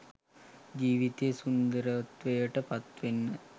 ජීවිතය සුන්දරත්වයට පත්වෙන්න